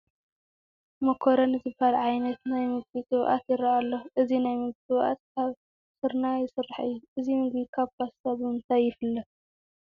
ማኮረኒ ዝበሃለ ዓይነት ናይ ምግቢ ግብኣት ይርአ ኣሎ እዚ ናይ ምግቢ ግብኣት ካብ ስርናይ ዝስራሕ እዩ፡፡ እዚ ምግቢ ካብ ፓስታ ብምንታይ ይፍለ?